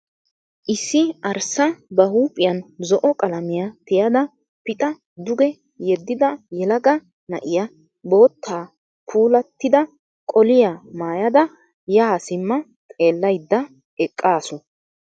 Issi arssa ba huuphiyan zo'o qalamiya tiyada pixa duge yeddidi yelaga na'iya bootta puulattida qoliya mayyada yaa simma xeellayidda eqqaasu.